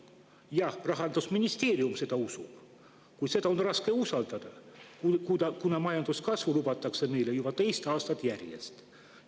Jah, Rahandusministeerium seda usub, kuid seda on raske usaldada, kuna majanduskasvu lubatakse meile juba teist aastat järjest.